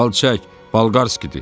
Al çək, Balqarskidir.